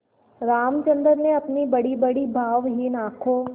रामचंद्र ने अपनी बड़ीबड़ी भावहीन आँखों